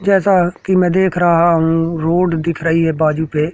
जैसा कि मैं देख रहा हूं रोड दिख रही है बाजू पे।